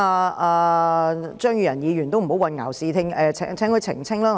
我請張宇人議員不要混淆視聽，並請他澄清一點。